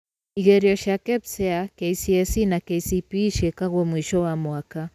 Igerio cia KPSEA, KCSE, na KCPE ciĩkagwo mũico wa mwaka.